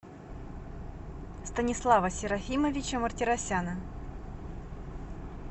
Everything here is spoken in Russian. станислава серафимовича мартиросяна